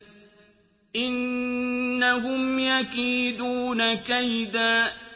إِنَّهُمْ يَكِيدُونَ كَيْدًا